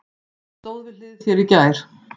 Ég stóð við hlið þér í gær.